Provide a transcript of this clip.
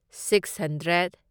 six hundred